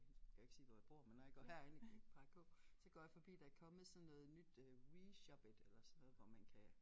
Nu skal jeg jo ikke sige hvor jeg bor men når jeg går herind plejer at gå så går jeg forbi der kommet sådan noget nyt øh Reshoppit eller sådan noget hvor man kan